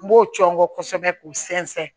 N b'o cɔngɔ kosɛbɛ k'o sɛnsɛn